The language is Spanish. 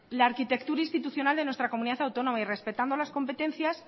la arquitectura institucional de nuestra comunidad autónoma y respetando las competencias